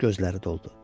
Gözləri doldu.